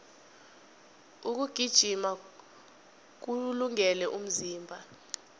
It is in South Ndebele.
ukugijima kuwulungele umzimba